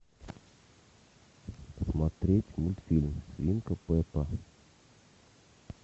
смотреть мультфильм свинка пеппа